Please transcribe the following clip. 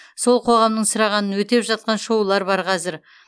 сол қоғамның сұрағанын өтеп жатқан шоулар бар қазір